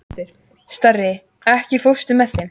Starri, ekki fórstu með þeim?